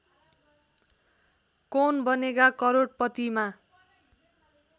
Kaun Banega करोडपतिमा